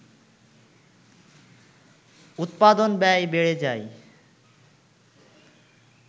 উৎপাদন ব্যয় বেড়ে যায়